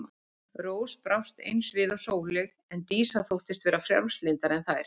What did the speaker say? Rós brást eins við og Sóley en Dísa þóttist vera frjálslyndari en þær.